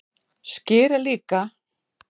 Skyr er líka